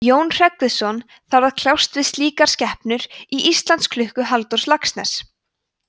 jón hreggviðsson þarf að kljást við slíkar skepnur í íslandsklukku halldórs laxness